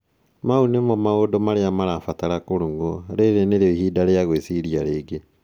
Mau nĩmoo maũndũ marĩa marabatara kũrũngũa. Rĩrĩ nĩrĩo ihinda rĩa gwĩciria rĩngĩ."